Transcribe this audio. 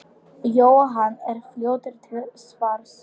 Jóhann er fljótur til svars.